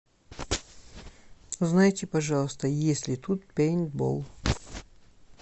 узнайте пожалуйста есть ли тут пейнтбол